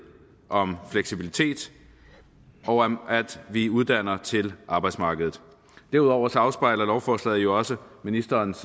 om fleksibilitet og om at vi uddanner til arbejdsmarkedet derudover afspejler lovforslaget jo også ministerens